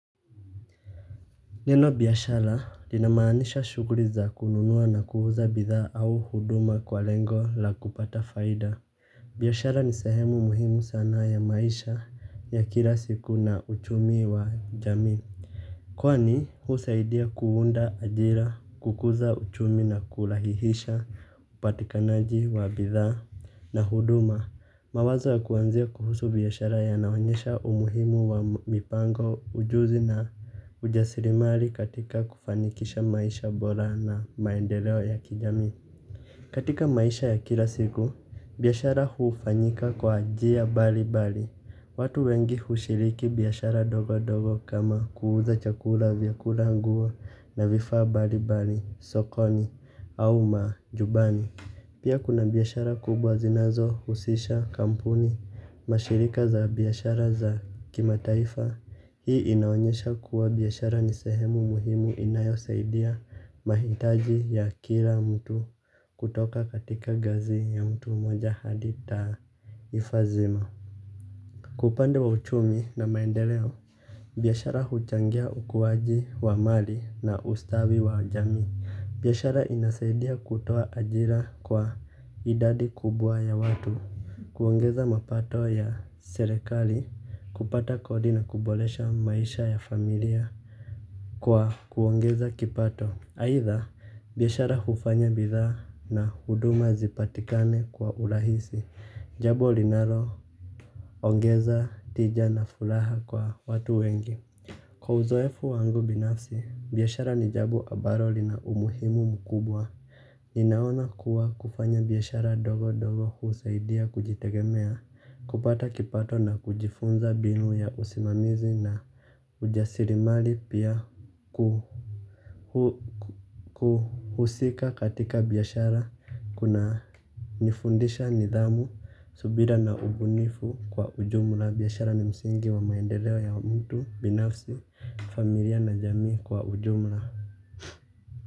Neno biashara inamaanisha shughuli za kununua na kuuza bidhaa au huduma kwa lengo la kupata faida. Biashara ni sehemu muhimu sana ya maisha ya kila siku na uchumi wa jamii. Kwani husaidia kuunda ajira, kukuza uchumi na kurahihisha upatikanaji wa bidhaa na huduma. Mawazo ya kuwanzia kuhusu biashara yanaonyesha umuhimu wa mipango ujuzi na ujasirimali katika kufanikisha maisha bora na maendeleo ya kijamii. Katika maisha ya kila siku, biashara hufanyika kwa njia mbali mbali. Watu wengi hushiriki biashara ndogondogo kama kuuza chakula vyakula, nguo na vifaa mbali mbali sokoni au majumbani. Pia kuna biashara kubwa zinazo husisha kampuni mashirika za biashara za kimataifa. Hii inaonyesha kuwa biashara ni sehemu muhimu inayo saidia mahitaji ya kila mtu kutoka katika ngazi ya mtu moja hadi taifa zima. Kwa upande wa uchumi na maendeleo biashara huchangia ukuwaji wa mali na ustawi wa jamii. Biashara inasaidia kutoa ajira kwa idadi kubwa ya watu kuongeza mapato ya serekali, kupata kodi na kuboresha maisha ya familia kwa kuongeza kipato. Aidha biashara hufanya bidhaa na huduma zipatikane kwa urahisi jambo linalo ongeza tija na furaha kwa watu wengi. Kwa uzoefu wangu binafsi biashara ni jambo ambalo lina umuhimu mkubwa ninaona kuwa kufanya biashara ndogo ndogo husaidia kujitegemea kupata kipato na kujifunza mbinu ya usimamizi na ujasirimali pia kuhusika katika biashara kuna nifundisha nidhamu, subira na ubunifu kwa ujumla biashara ni msingi wa maendeleo ya mtu binafsi. Familia na jamii kwa ujumla.